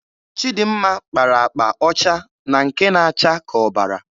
Chịdịmma kpara akpa ọcha na nke na-acha ka ọbara.